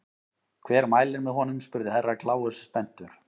Hver mælir með honum spurði Herra Kláus spenntur.